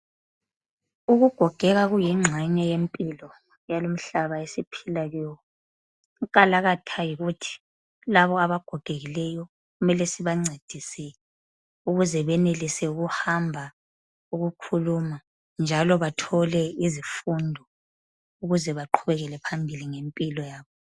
Ukugogeka kuyingxenye yempilo yalumhlaba esiphila kiwo inkalakatha yikuthi labo abagogekileyo kumele sibancedise ukuze benelise ukuhamba, ukukhuluma njalo bathole izifundo ukuze baqhubekele phambili ngempilo yabo.